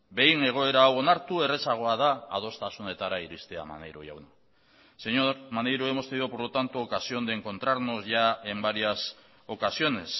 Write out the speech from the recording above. behin egoera hau onartu errazagoa da adostasunetara iristea maneiro jauna señor maneiro hemos tenido por lo tanto ocasión de encontrarnos ya en varias ocasiones